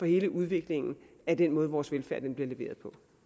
hele udviklingen af den måde vores velfærd bliver leveret